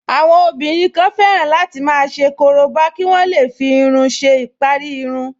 Àwọn obìnrin kan fẹ́ràn láti máa ṣe korobá kí wọ́n lè fi iyùn si ìparí irun